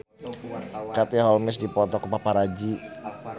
Katie Holmes dipoto ku paparazi